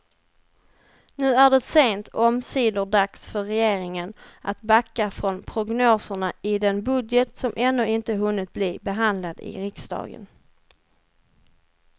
Nu är det sent omsider dags för regeringen att backa från prognoserna i den budget som ännu inte hunnit bli behandlad i riksdagen.